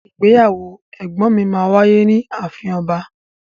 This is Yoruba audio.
Ìgbéyàwó ẹgbọn mi ma wáyé ni àfín ọba.